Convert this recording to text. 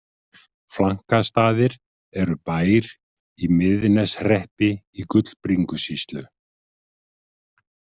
Flankastaðir eru bær í Miðneshreppi í Gullbringusýslu.